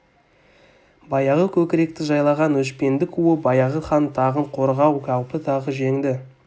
баяғы көкіректі жайлаған өшпендік уы баяғы хан тағын қорғау қаупі тағы жеңді